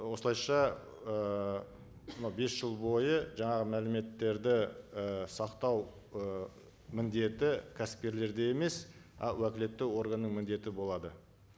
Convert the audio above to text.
осылайша ыыы мынау бес жыл бойы жаңағы мәліметтерді і сақтау ы міндеті кәсіпкерлерде емес а уәкілетті органның міндеті болады